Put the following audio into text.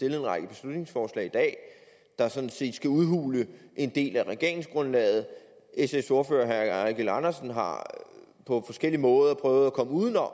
en række beslutningsforslag der sådan set skal udhule en del af regeringsgrundlaget sfs ordfører herre eigil andersen har på forskellige måder prøvet at komme uden om